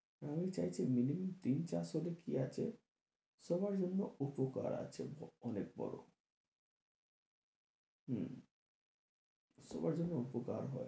আমি চাইছি minimum তিন-চারশো তে কি আছে সবার জন্য উপকার আছে অনেক বড়ো হম সবার যেন উপকার হয়।